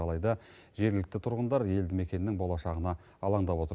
алайда жергілікті тұрғындар елді мекеннің болашағына алаңдап отыр